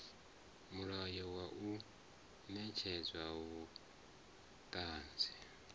mulayo wa u netshedza vhuṱanzi